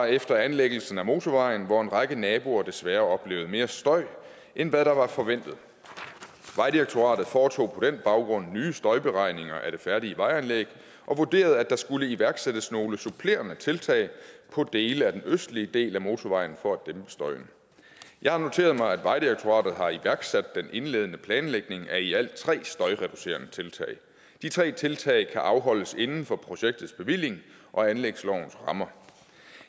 efter anlæggelsen af motorvejen hvor en række naboer desværre oplevede mere støj end hvad der var forventet vejdirektoratet foretog på den baggrund nye støjberegninger af det færdige vejanlæg og vurderede at der skulle iværksættes nogle supplerende tiltag på dele af den østlige del af motorvejen for at dæmpe støjen jeg har noteret mig at vejdirektoratet har iværksat den indledende planlægning af i alt tre støjreducerende tiltag de tre tiltag kan afholdes inden for projektets bevilling og anlægslovens rammer